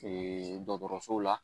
Ee dɔgɔtɔrɔso la